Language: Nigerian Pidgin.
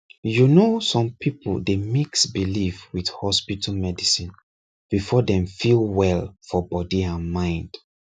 you know some people dey mix belief with hospital medicine before dem feel well for body and mind